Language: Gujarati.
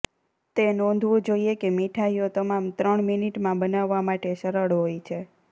તે નોંધવું જોઇએ કે મીઠાઈઓ તમામ ત્રણ મિનિટમાં બનાવવા માટે સરળ હોય છે